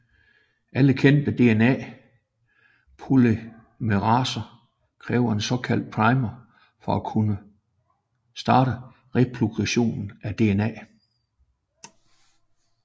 Alle kendte DNA polymeraser kræver en såkaldt primer for at kunne starte replikation af DNA